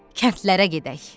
Kəndlərə gedək.